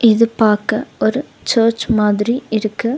இது பாக்க ஒரு சர்ச் மாதிரி இருக்கு.